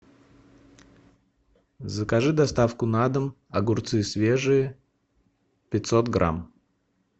закажи доставку на дом огурцы свежие пятьсот грамм